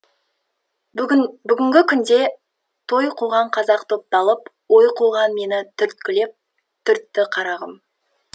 бүгін бүгінгі күнде той қуған қазақ топталып ой қуған мені түрткілеп түртті қарағым